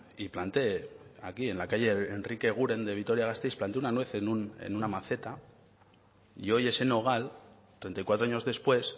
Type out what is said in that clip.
y planté aquí en la calle enrique eguren de vitoria gasteiz planté una nuez en una maceta y hoy ese nogal treinta y cuatro años después